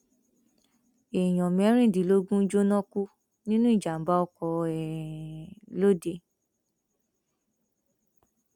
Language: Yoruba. èèyàn mẹrìndínlógún jóná kú nínú ìjàmbá ọkọ um lọdẹ